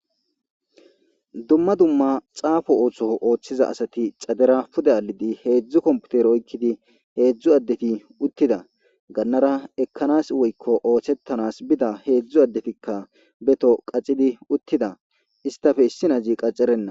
Dumma dumma xaafo ootho oothida asati xadeera pude aadhidi hedzdzu kompitere oykidi hedzdzu addeti uthida gannaara ekkanas woykko oosetanas bida hedzdzu addetikka be toho qatidi uttida istappe issi na'azi qatarenna.